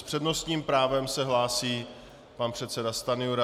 S přednostním právem se hlásí pan předseda Stanjura.